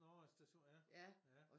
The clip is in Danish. Nåh station ja ja